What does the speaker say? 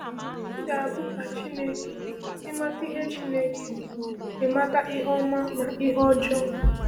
“Ị ga-abụ ka Chineke, ịmata ihe Chineke, ịmata ihe ọma na ihe ọjọọ.”